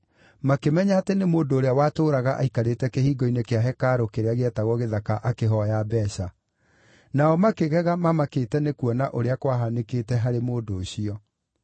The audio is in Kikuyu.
makĩmenya atĩ nĩ mũndũ ũrĩa watũũraga aikarĩte kĩhingo-inĩ kĩa hekarũ kĩrĩa gĩetagwo Gĩthaka akĩhooya mbeeca. Nao makĩgega mamakĩte nĩkuona ũrĩa kwahanĩkĩte harĩ mũndũ ũcio.